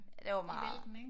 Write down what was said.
Ja det var meget